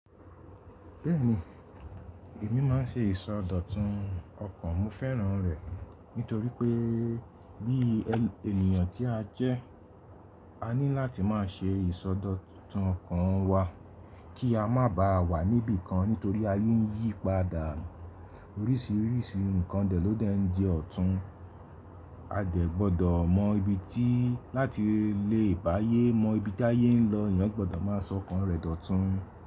Bẹ́ẹ̀ni, èmi máa ń ṣe ìsọdọ̀tun ọkàn, mo fẹ́ràn rẹ̀ nítorí pé bí ènìyàn tí a jẹ́, a ní láti máa ṣe ìsọdọ̀tun ọkàn wa kí a má bà a wà níbi kan nítorí ayé ń yí padà, orísìírísìí nǹkan dè ló dẹ̀ ń di ọ̀tún. A dè gbọdọ̀ mọ ibi tí láti lè bá'yé mọ ibi tí ayé ń lọ, èèyàn gbọdọ̀ máa sọ ọkàn rẹ̀ dọ̀tun.